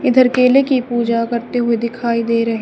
इधर केले की पूजा करते हुए दिखाई दे रहें--